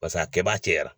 Pas'a kɛbaa caya